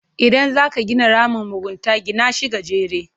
Idan zaka gina ramin mugunta, gina shi gajere.